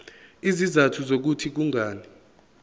izizathu zokuthi kungani